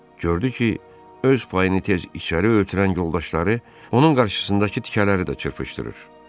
Gördü ki, öz payını tez içəri ötürən yoldaşları onun qarşısındakı tikələri də çırpışdırır.